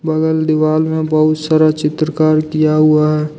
बगल दीवाल में बहुत सारा चित्रकार किया हुआ है।